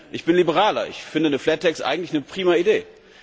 Ich bin ein Liberaler, ich finde eine flat tax eigentlich eine prima Idee.